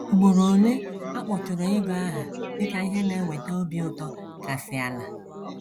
Ugboro ole a kpọtụrụ ego aha dị ka ihe na - eweta obi ụtọ kasị ala.